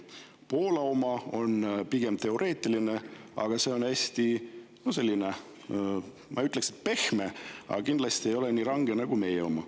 Poola oma on pigem teoreetiline ja see on hästi selline, ma ei ütleks, et pehme, aga kindlasti ei ole see nii range nagu meie oma.